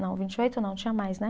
Não, vinte e oito não, tinha mais, né?